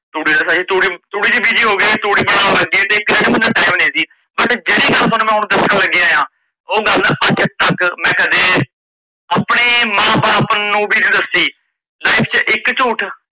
ਤੂੜੀ ਦਾ ਸਹਿ ਤੂੜੀ ਚ busy ਹੋਗੇ ਤੂੜੀ ਬਨਾਣ ਲੱਗ ਗਈ ਤੇ creativity ਲਈ ਟੈਮ ਨੀ ਸੀ। ਤੇ ਜੇੜੀ ਗੱਲ ਤੁਹਾਨੂੰ ਹੁਣ ਮੈ ਦੱਸਣ ਲੱਗਿਆ ਆ ਓਹ ਗੱਲ ਮੈ ਅੱਜ ਤੱਕ ਆਪਣੇ ਮਾਂ ਬਾਪ ਨੂੰ ਵੀ ਨਹੀਂ ਦੱਸੀ, life ਚ ਇੱਕ ਝੂਠ